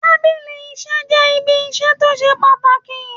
Tábìlì iṣẹ́ jẹ́ irin iṣẹ́ tó ṣe pàtàkì.